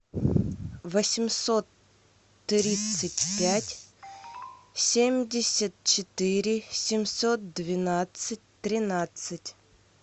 восемьсот тридцать пять семьдесят четыре семьсот двенадцать тринадцать